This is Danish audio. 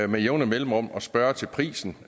med jævne mellemrum at spørge til prisen